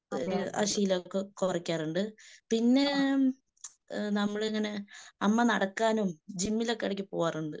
എഹ് ആ ശീലമൊക്കെ കുറക്കാറുണ്ട്. പിന്നേ നമ്മളിങ്ങനെ നടക്കാനും ജിമ്മിലൊക്കെ ഇടയ്ക്ക് പോകാറുണ്ട്.